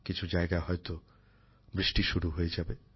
কিছু জায়গায় হয়তো বৃষ্টি শুরু হয়ে যাবে